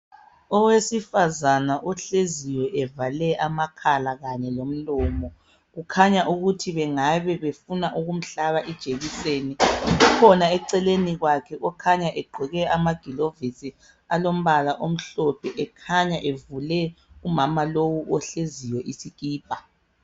Owesifazana ohleziyo evale amakhala kanye lomlomo kukhanya ukuthi bengabe befuna ukumhlaba ijekiseni kukhona eceleni kwakhe okhanya egqoke amakilovisi alombala omhlophe ekhanya evule umama lo ohleziyo isikipa